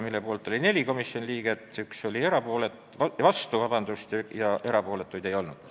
Selle poolt oli 4 komisjoni liiget, 1 oli vastu ja erapooletuid ei olnud.